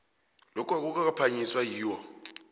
lokhu akukaphakanyiswa yiwho